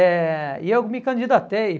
Eh e eu me candidatei.